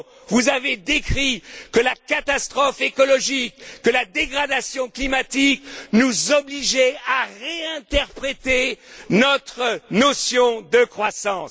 Vous n'avez pas dit que la catastrophe écologique, que la dégradation climatique nous obligeaient à réinterpréter notre notion de croissance.